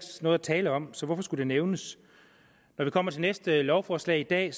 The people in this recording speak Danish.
noget at tale om så hvorfor skulle det nævnes når vi kommer til det næste lovforslag i dag